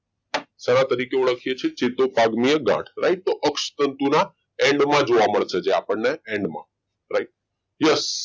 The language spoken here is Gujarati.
સેના તરીકે ઓળખે છે ચેતુપાગમીય ગાંઠ તરીકે લાઇટો અક્ષ તંતુના end જોવા મળશે આપણને end માં right yes